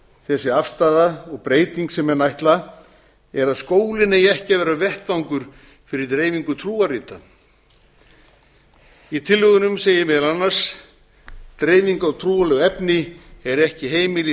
þessi afstaða og breyting sem menn ætla að skólinn eigi ekki að vera vettvangur fyrir dreifingu trúarrita í tillögunum segir meðal annars dreifing á trúarlegu efni er ekki heimil í